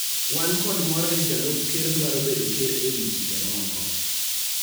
Wan kod mor ni Jalup Ker dwaro bedo Ker e wi chike moko.